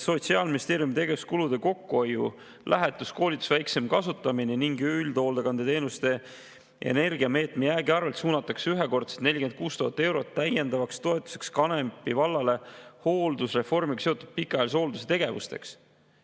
Sotsiaalministeeriumi tegevuskulude kokkuhoiu – lähetuste, koolituste väiksem kasutamine – ning üldhoolekande energiameetme jäägi arvelt suunatakse ühekordselt 46 000 eurot täiendavaks toetuseks Kanepi vallale hooldusreformiga seotud pikaajalise hoolduse tegevusteks.